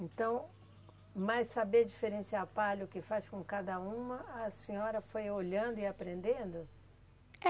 Então, mas saber diferenciar palha o que faz com cada uma, a senhora foi olhando e aprendendo? É